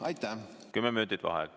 Vaheaeg kümme minutit.